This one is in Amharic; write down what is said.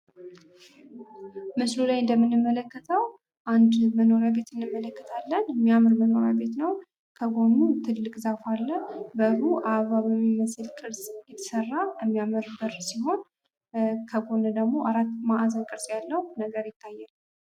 ምስሉ ላይ እንደምንመለከተው አንድ መኖሪያ ቤት እንመለከታለን። እሚያምር መኖሪያ ቤት ነው። ከጎኑ ትልቅ ዛፍ አለ። በሩ አበባ በሚመስል ቅርፅ የተሰራ የሚያምር በር ሲሆን ከጎኑ ደግሞ አራት ማዕዘን ቅርፅ ያለው ነገር ይታያል።